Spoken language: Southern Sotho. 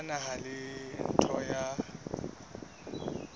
ya naha le ntlo ya